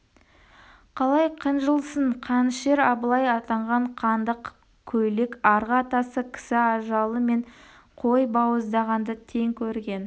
қалай қынжылсын қанішер абылай атанған қанды көйлек арғы атасы кісі ажалы мен қой бауыздағанды тең көрген